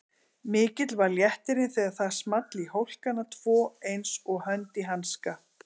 Mikill var léttirinn þegar það small í hólkana tvo einsog hönd í hanska.